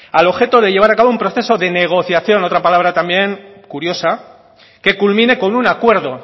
al objeto de llevar a cabo un proceso de negociación otra palabra también curiosa que culmine con un acuerdo